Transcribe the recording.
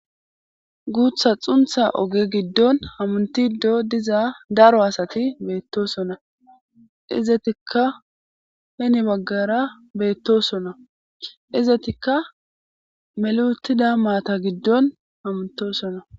Guuththa xuunththa oge giddon hamuntido diza daro asati beetosona; izetikka heni bagaara beetosona; izetikka meli uttida maata giddon hamuttosona.